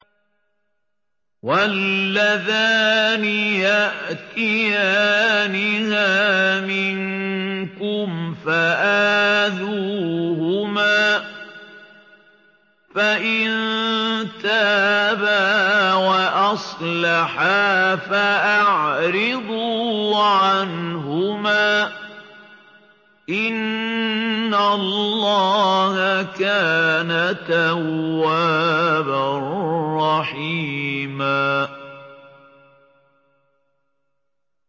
وَاللَّذَانِ يَأْتِيَانِهَا مِنكُمْ فَآذُوهُمَا ۖ فَإِن تَابَا وَأَصْلَحَا فَأَعْرِضُوا عَنْهُمَا ۗ إِنَّ اللَّهَ كَانَ تَوَّابًا رَّحِيمًا